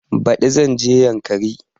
Baɗi zan je yankari